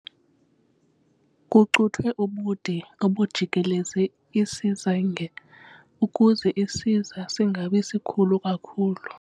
Kucuthwe ubude obujikeleze isazinge ukuze isiza singabi sikhulu kakhulu.